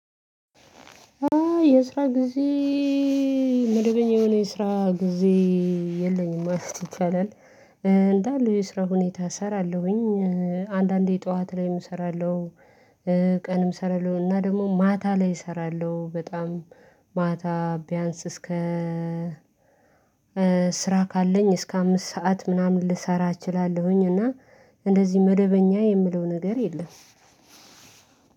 የስራ ጊዜ መደበኛ የሆነ የስራ ጊዜ የለኝም ማለት ይቻላል። እንዳለ የስራ ሁኔታ እሰራለሁኝ። አንዳንዴ ጠዋት ላይም እሰራለሁ። ቀንም እሰራለሁ እና ደግሞ ማታ ላይ እሰራለሁ በጣም ማታ ቢያንስ እስከ ስራ ካለኝ እስከ አምስት ሰዓት ምናምን ልሰራ እችላለሁኝ። እና እንደዚህ መደበኛ የምለው ነገር የለም።